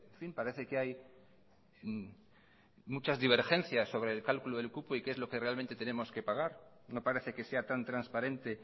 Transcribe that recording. fin parece que hay muchas divergencias sobre el cálculo del cupo y qué es lo que realmente tenemos que pagar no parece que sea tan transparente